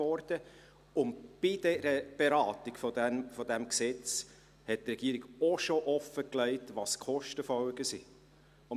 Bei der Beratung des Gesetzes hatte die Regierung auch schon offengelegt, welches die Kostenfolgen sind.